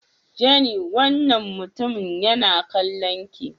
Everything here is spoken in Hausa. Jenny wannan mutumin yana kallon ki.